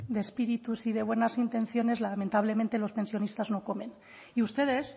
de espíritus y de buenas intenciones lamentablemente los pensionistas no comen y ustedes